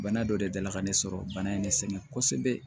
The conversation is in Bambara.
Bana dɔ de delila ka ne sɔrɔ bana in ne sɛgɛn kosɛbɛ